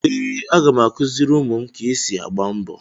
Ee, aga m akụziri ụmụ m ka esi agba mbọ.